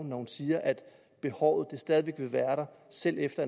når hun siger at behovet stadig væk vil være der selv efter